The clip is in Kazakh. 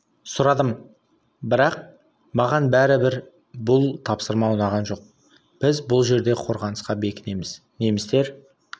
сұрадым бірақ маған бәрі бір бұл тапсырма ұнаған жоқ біз бұл жерде қорғанысқа бекінеміз немістер